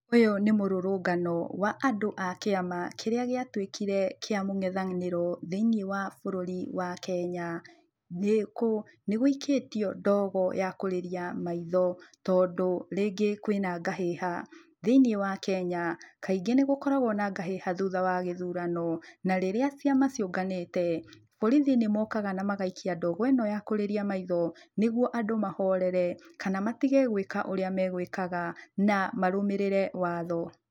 Ũyũ nĩ mũrũrũngano wa andũ a kĩama kĩrĩa gĩatuĩkire kĩa mũngethanĩro thĩiniĩ wa bũrũri wa Kenya. Nĩ kũ, nĩ gũikĩtio ndogo ya kũrĩria maitho tondũ rĩngĩ kwĩna ngahĩha. Thĩiniĩ wa Kenya, kaingĩ nĩgũkoragwo na ngahĩha thutha wa gĩthurano, na rĩrĩa ciama ciũnganĩte borithi nĩmokaga na magaikia ndogo ĩno ya kũrĩria maitho, nĩgwo andũ mahorere kana matige gwĩka ũrĩa megwĩkaga na marũmĩrĩre watho.